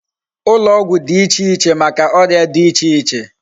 Ulo ogwu di iche iche Maka oria di iche iche